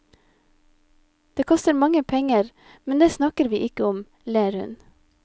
Det koster mange penger, men det snakker vi ikke om, ler hun.